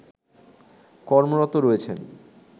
কমর্রত রয়েছেন